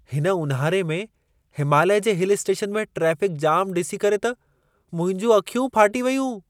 हिन ऊनहारे में हिमालय जे हिल स्टेशन में ट्रैफ़िक जाम डि॒सी करे त मुंहिंजू अखियूं फाटी वयूं।